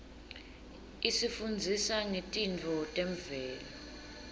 isifundzisa ngetintfo temvelo